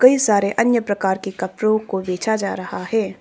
ये सारे अन्य प्रकार के कपड़ो को बेचा जा रहा है।